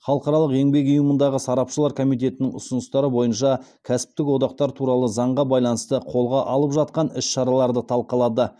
халықаралық еңбек ұйымындағы сарапшылар комитетінің ұсыныстары бойынша кәсіптік одақтар туралы заңға байланысты қолға алып жатқан іс шараларды талқылады